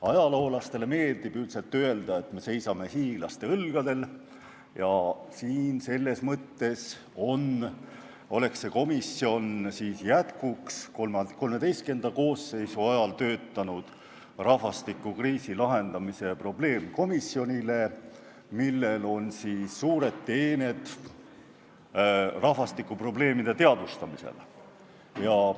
Ajaloolastele meeldib üldiselt öelda, et me seisame hiiglaste õlgadel, ja selles mõttes on see komisjon jätkuks XIII koosseisu ajal töötanud rahvastikukriisi lahendamise probleemkomisjonile, millel on suured teened rahvastikuprobleemide teadvustamisel.